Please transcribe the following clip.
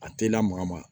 A te lamaga ma